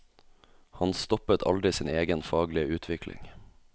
Han stoppet aldri sin egen faglige utvikling.